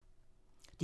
DR2